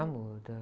Ah, muda.